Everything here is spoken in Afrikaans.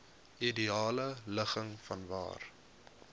ideale ligging vanwaar